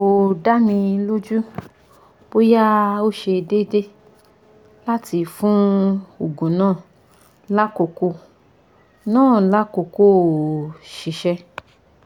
ko da mi loju boya o se deede lati fun oogun na lakoko na lakoko ko sise